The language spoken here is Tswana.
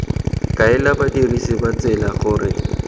kaela badirisi ba tsela gore